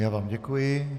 Já vám děkuji.